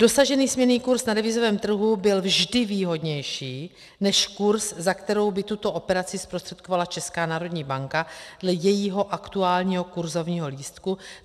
Dosažený směnný kurz na devizovém trhu byl vždy výhodnější než kurz, za kterou by tuto operaci zprostředkovala Česká národní banka dle jejího aktuálního kurzovního lístku.